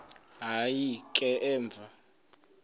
hayi ke emva